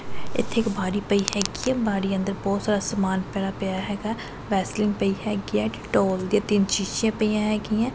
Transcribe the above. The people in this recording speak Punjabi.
ਇੱਥੇ ਇੱਕ ਭਾ ਪਈ ਹੈਗੀ ਹੈ ਬਾਰੀ ਅੰਦਰ ਬੋਹੁਤ ਸਾਰਾ ਸਮਾਨ ਫੈਲਾ ਪਿਆ ਹੈਗਾ ਵੈਸਲੀਨ ਪਈ ਹੈਗੀ ਹੈ ਡਿਟੋਲ ਦੀਆਂ ਤਿੰਨ ਸ਼ੀਸ਼ਿਆਂ ਪਈਆਂ ਹੈਗੀ ਹੈਂ।